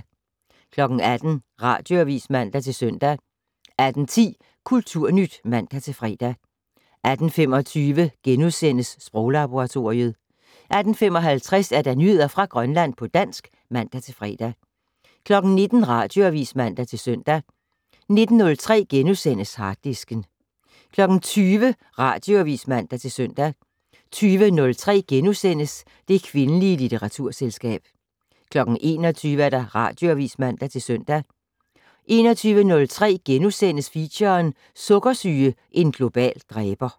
18:00: Radioavis (man-søn) 18:10: Kulturnyt (man-fre) 18:25: Sproglaboratoriet * 18:55: Nyheder fra Grønland på dansk (man-fre) 19:00: Radioavis (man-søn) 19:03: Harddisken * 20:00: Radioavis (man-søn) 20:03: Det kvindelige litteraturselskab * 21:00: Radioavis (man-søn) 21:03: Feature: Sukkersyge - en global dræber *